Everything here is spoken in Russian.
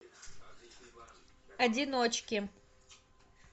одиночки